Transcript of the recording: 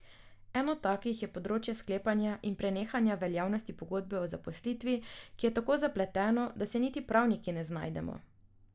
Eno takih je področje sklepanja in prenehanja veljavnosti pogodbe o zaposlitvi, ki je tako zapleteno, da se niti pravniki ne znajdemo.